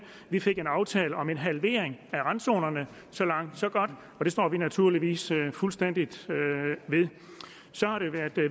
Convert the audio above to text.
vi fik en aftale om en halvering af randzonerne så langt så godt det står vi naturligvis fuldstændig ved så har det været